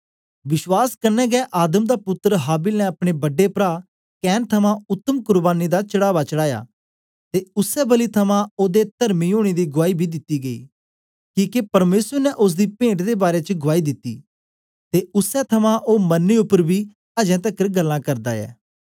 विश्वास कन्ने गै आदम दा पुत्तर हाबिल ने अपने बड्डे प्रा कैन थमां उत्तम कुर्बानी दा चढ़ावा चढ़ाया ते उसै बलि थमां ओदे तर्मी ओनें दी गुआई बी दिती गेई किके परमेसर ने ओसदी पेंट दे बारै च गुआई दिती ते उसै थमां ओ मरने उपर बी अजें तकर गल्लां करदा ऐ